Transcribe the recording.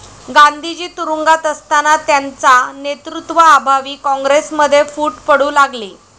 गांधीजी तुरूंगात असतांना त्यांचा नेतृत्वा अभावी काँग्रेसमध्ये फूट पडू लागली